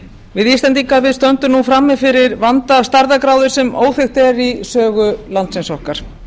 við íslendingar stöndum nú frammi fyrir vanda af stærðargráðu sem óþekkt er í sögu landsins okkar